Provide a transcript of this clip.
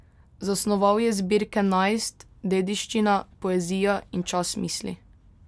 Zasnoval je zbirke Najst, Dediščina, Poezija in Čas misli.